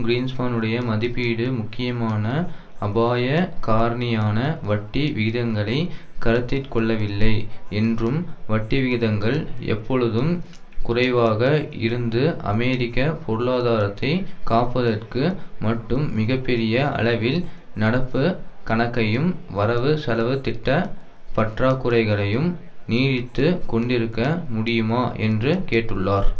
கிரீன்ஸ்பானுடைய மதிப்பீடு முக்கியமான அபாயக் காரணியான வட்டி வீதங்களைக் கருத்திற்கொள்ளவில்லை என்றும் வட்டிவிகிதங்கள் எப்பொழுதும் குறைவாக இருந்து அமெரிக்க பொருளாதாரத்தைக் காப்பதற்கு மட்டும் மிக பெரிய அளவில் நடப்புக் கணக்கையும் வரவுசெலவு திட்ட பற்றாக்குறைகளையும் நீடித்து கொண்டிருக்க முடியுமா என்று கேட்டுள்ளார்